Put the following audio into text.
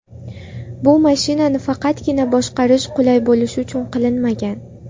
Bu mashinani faqatgina boshqarish qulay bo‘lishi uchun qilinmagan.